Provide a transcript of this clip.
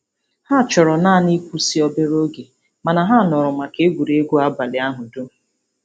Ha chọrọ naanị ịkwụsị obere oge mana ha nọrọ maka egwuregwu abalị ahụ dum.